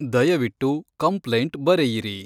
ದಯವಿಟ್ಟು ಕಂಪ್ಲೈಂಟ್ ಬರೆಯಿರಿ